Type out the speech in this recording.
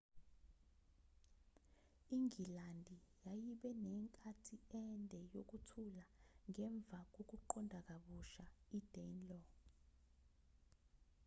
ingilandi yayibe nenkathi ende yokuthula ngemva kokunqoba kabusha idanelaw